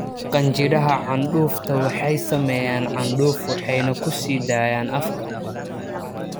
Qanjidhada candhuufta waxay sameeyaan candhuuf waxayna ku sii daayaan afka.